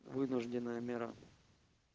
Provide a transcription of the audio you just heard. вынужденная мера